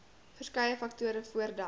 verskeie faktore voordat